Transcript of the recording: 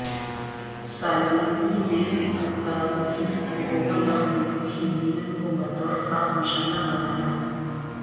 Salvini نے اطالوی حکومت اور یورپی یونین کو بطور خاص نشانہ بنایا